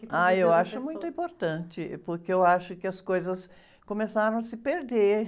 Ah, eu acho muito importante, porque eu acho que as coisas começaram a se perder.